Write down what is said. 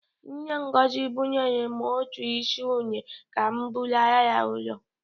Nne Ngozi bunyere m otu isi une ka m bulaara ya ụlọ.